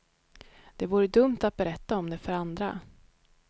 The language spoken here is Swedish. Det vore dumt att berätta om det för andra.